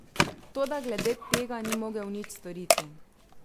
Toda glede tega ni mogel nič storiti.